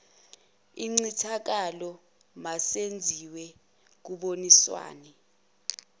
incithakalo masenziwe kuboniswana